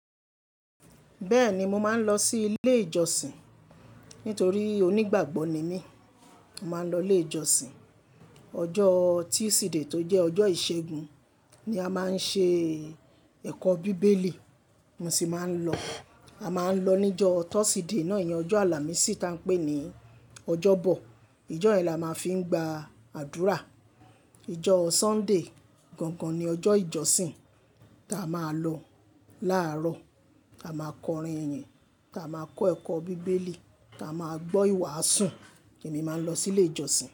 Bẹ́ẹ̀ ni, mo máa ń lọ sí ilé ìjọsìn. Nítorí onígbàgbọ́ ni mí, màá lọ ilé ìjọsìn. Ọjọ́ Tuesday tó jẹ́ ọjọ́ ìṣẹ́gun ni a máa ń ṣe ẹ̀kọ́ bíbélì, mo sì máa ń lọ. A máa ń lọ níjọ́ Thursday náà yẹn, ọjọ́ Àlàmísì ta n pé ní ọjọ́bọ̀. Ìjọ́ yẹn la máa fi ń gba àdúrà. Ojọ́ Sunday gangan ni ọjọ́ ìjọsìn ta a máa lọ láàárọ̀. A máa kọrin iyín, ta a máa kọ́ ẹ̀kọ́ bíbélì, ta a máa gbọ́ ìwàásù, èmi máa ń lọ sí ilé ìjọsìn.